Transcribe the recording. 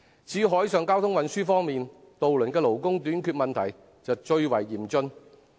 至於海上交通運輸方面，渡輪的勞工短缺問題最為嚴峻。